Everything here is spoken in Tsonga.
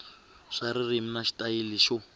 swa ririmi na xitayili xo